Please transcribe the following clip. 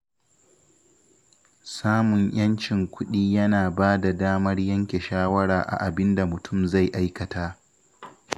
Samun ‘yancin kuɗi yana ba da damar yanke shawara a abin da mutum zai aikata